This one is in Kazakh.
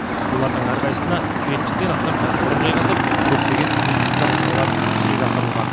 олардың әрқайсысына жетпістен астам кәсіпорын жайғасып көптеген инвестициялық жобалар жүзеге асырылмақ